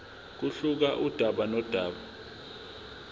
kuyehluka kudaba nodaba